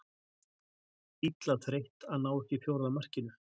Illa þreytt að ná ekki fjórða markinu.